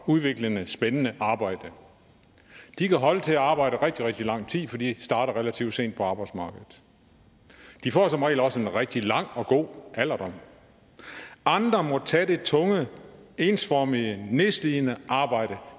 udviklende og spændende arbejde de kan holde til at arbejde rigtig rigtig lang tid for de starter relativt sent på arbejdsmarkedet de får som regel også en rigtig lang og god alderdom andre må tage det tunge ensformige nedslidende arbejde